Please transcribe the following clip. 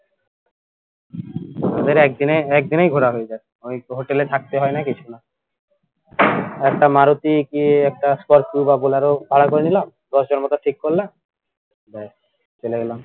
একদিনে একদিনেই ঘোরা হয়ে যাই ওই hotel এ থাকতে হয়না কিছু না একটা মারুতি কি একটা স্করপিউ বা বুলারও ভাড়া করে নিলাম দশের মতো ঠিক করলাম ব্যাস চলে এলাম